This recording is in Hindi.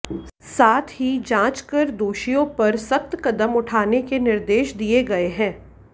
साथ ही जांच कर दोषियों पर सख्त कदम उठाने के निर्देश दिए गए है